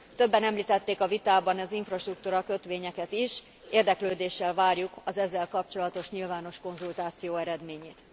Többen említették a vitában az infrastruktúra kötvényeket is, érdeklődéssel várjuk az ezzel kapcsolatos nyilvános konzultáció eredményét.